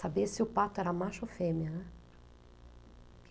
Sabia se o pato era macho ou fêmea, né.